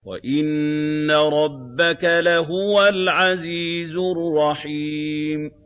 وَإِنَّ رَبَّكَ لَهُوَ الْعَزِيزُ الرَّحِيمُ